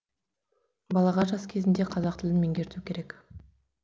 балаға жас кезінде қазақ тілін меңгерту керек